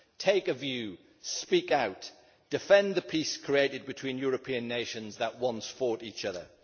Take a view, speak out, defend the peace created between European nations that once fought each other.